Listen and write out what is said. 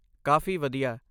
ਕਾਫ਼ੀ ਵਧੀਆ!